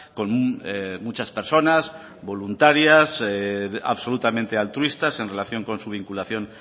con muchas personas voluntarias absolutamente altruistas en relación con su vinculación